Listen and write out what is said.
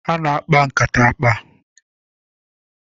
Ana akpa nkata akpa